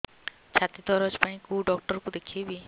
ଛାତି ଦରଜ ପାଇଁ କୋଉ ଡକ୍ଟର କୁ ଦେଖେଇବି